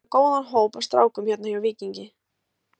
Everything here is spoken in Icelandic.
Við erum með góðan hóp af strákum hérna hjá Víkingi.